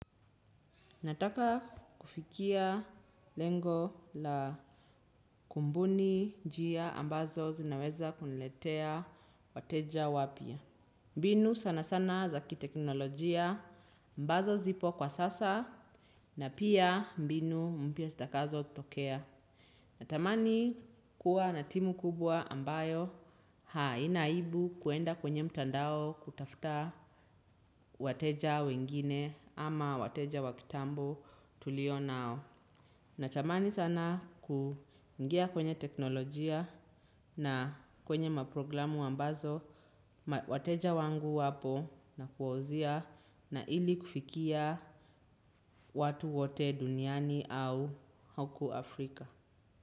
Nataka kufikia lengo la kumbuni njia ambazo zinaweza kuniletea wateja wapya. Mbinu sana sana za kiteknolojia ambazo zipo kwa sasa na pia mbinu mpya sitakazo tokea. Natamani kuwa na timu kubwa ambayo haina aibu kuenda kwenye mtandao kutafta wateja wengine ama wateja wa kitambo tulio nao. Nachamani sana kuingia kwenye teknolojia na kwenye maprogramu ambazo, wateja wangu wapo na kuwauzia na ili kufikia watu wote duniani au huku Afrika.